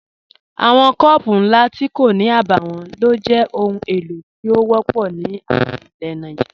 Awọn kọọpụ̀ nlá tí kò ní àbáwọ̀n ló jẹ́ ọhun èlo tí o wọ̀pọ̀ ní àwọn ilẹ̀ Nàìjíríà.